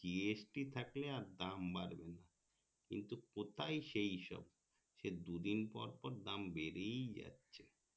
GST থাকলে আর দাম বাড়বে না কিন্তু কোথায় সেই সব সেই দুদিন পর পর দাম বেড়েই যাচ্ছে